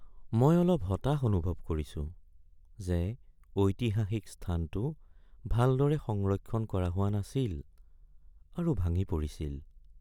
মই অলপ হতাশ অনুভৱ কৰিছো যে ঐতিহাসিক স্থানটো ভালদৰে সংৰক্ষণ কৰা হোৱা নাছিল আৰু ভাঙি পৰিছিল।